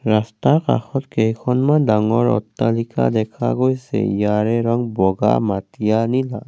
ৰাস্তা কাষত কেইখনমান ডাঙৰ অট্টালিকা দেখা গৈছে ইয়াৰে ৰং বগা মাটিয়া নীলা।